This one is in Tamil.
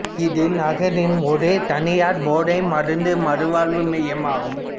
இது நகரின் ஒரே தனியார் போதை மருந்து மறுவாழ்வு மையம் ஆகும்